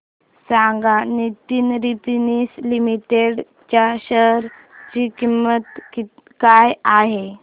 सांगा Nitin spinners limited च्या share ची किंमत काय आहे